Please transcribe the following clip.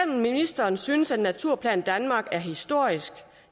ministeren synes at naturplan danmark er historisk